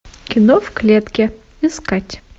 кино в клетке искать